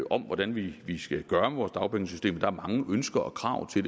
om hvordan vi vi skal gøre vores dagpengesystem og der er mange ønsker og krav til